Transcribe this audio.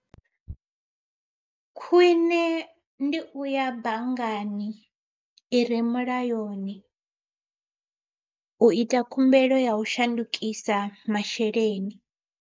Khwiṋe ndi uya banngani i re mulayoni, u ita khumbelo ya u shandukisa masheleni.